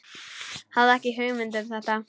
Hafði ekki hugmynd um þetta.